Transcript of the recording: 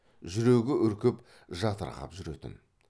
жүрегі үркіп жатырқап жүретін